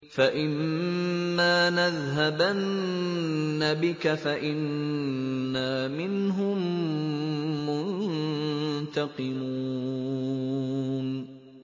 فَإِمَّا نَذْهَبَنَّ بِكَ فَإِنَّا مِنْهُم مُّنتَقِمُونَ